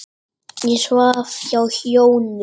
Ég svaf hjá Jónu.